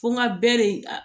Fo n ka bɛ de